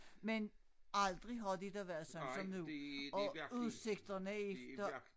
Men aldrig har det da været sådan som nu og udsigterne efter